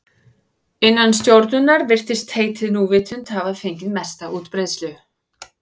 Innan stjórnunar virðist heitið núvitund hafa fengið mesta útbreiðslu.